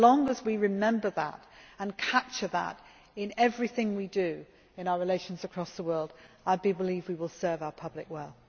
As long as we remember that and capture that in everything we do in our relations across the world, I believe we will serve our public well.